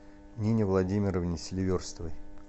нине владимировне селиверстовой